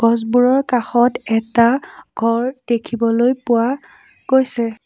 গছবোৰৰ কাষত এটা ঘৰ দেখিবলৈ পোৱা গৈছে।